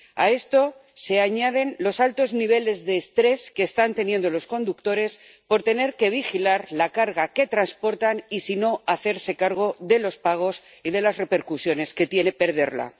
A esto se añaden los altos niveles de estrés que están teniendo los conductores por tener que vigilar la carga que transportan y, si no, hacerse cargo de los pagos y de las repercusiones que tiene perderla.